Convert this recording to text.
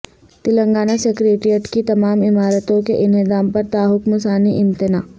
Telangana secretariat کی تمام عمارتوں کے انہدام پرتاحکم ثانی امتناع